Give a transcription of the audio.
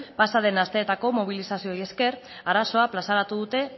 pasaden asteetako mobilizazioei esker arazoa plazaratu dute